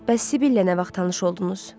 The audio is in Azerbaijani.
Bəs Sibylə nə vaxt tanış oldunuz?